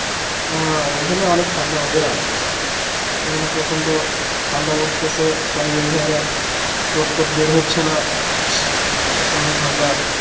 উম এখানে অনেক ঠান্ডা ভাইয়া এখানে প্রচন্ড ঠান্ডা পরতেসে কয়েক দিন ধরে, লোক টোক বের হচ্ছে না প্রচন্ড ঠান্ডা